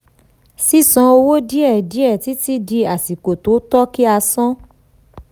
sísan owó díẹ̀ díẹ̀ títí di àsìkò tó tọ́ kí a san.